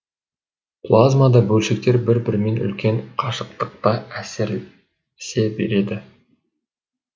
плазмада бөлшектер бір бірімен үлкен қашықтықта әсерлесе береді